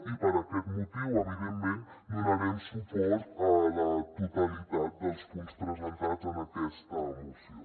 i per aquest motiu evidentment donarem suport a la totalitat dels punts presentats en aquesta moció